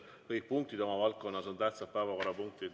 Kõik punktid oma valdkonnas on tähtsad päevakorrapunktid.